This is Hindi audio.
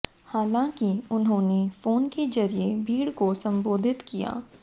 हालांकि उन्होंने फोन के जरिए भीड़ को संबोधित किया